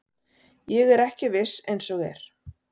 Ég er ekki viss eins og er.